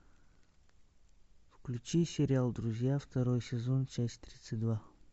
включи сериал друзья второй сезон часть тридцать два